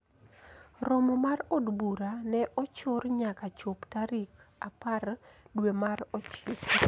Romo mar od bura ne ochor nyaka chop tarik apar dwe mar Ochiko